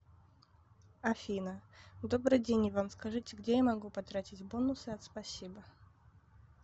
афина добрый день иван скажите где я могу потратить бонусы от спасибо